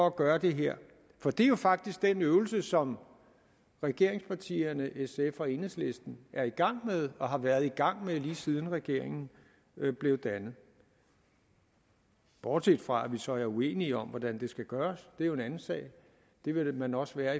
at gøre det her for det er jo faktisk den øvelse som regeringspartierne sf og enhedslisten er i gang med og har været i gang med lige siden regeringen blev dannet bortset fra at vi så er uenige om hvordan det skal gøres det er jo en anden sag det vil man også være